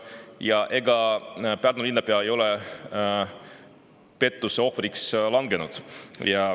Ja ega Pärnu linnapea ei ole pettuse ohvriks langenud?